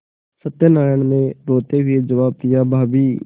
सत्यनाराण ने रोते हुए जवाब दियाभाभी